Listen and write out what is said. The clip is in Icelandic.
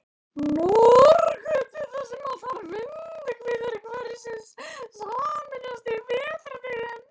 Norðurgötu, þar sem allar vindhviður hverfisins sameinast á vetrardögum.